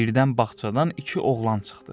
Birdən bağçadan iki oğlan çıxdı.